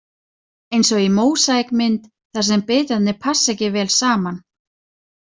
Eins og mósaíkmynd þar sem bitarnir passa ekki vel saman.